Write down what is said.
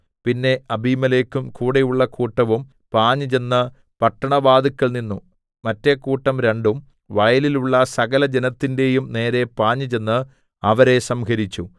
പിന്നെ അബീമേലെക്കും കൂടെയുള്ള കൂട്ടവും പാഞ്ഞുചെന്ന് പട്ടണവാതിൽക്കൽ നിന്നു മറ്റെ കൂട്ടം രണ്ടും വയലിലുള്ള സകലജനത്തിന്റെയും നേരെ പാഞ്ഞുചെന്ന് അവരെ സംഹരിച്ചു